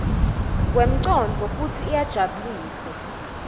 kwemcondvo futsi iyajabulisa